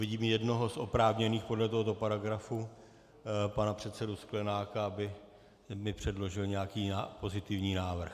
Vidím jednoho z oprávněných podle tohoto paragrafu, pana předsedu Sklenáka, aby mi předložil nějaký pozitivní návrh.